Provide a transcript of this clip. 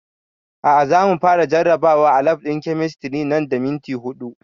A'a za mu fara jarabawa a lab ɗin kemistri nan da minti huɗu